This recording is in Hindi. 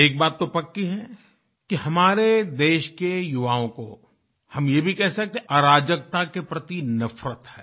एक बात तो पक्की है कि हमारे देश के युवाओं को हम ये भी कह सकते हैं अराजकता के प्रति नफ़रत है